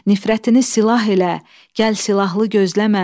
Nifrətini silah elə, gəl silahlı gözləmə.